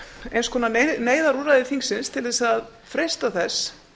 eins konar neyðarúrræði þingsins til þess að freista þess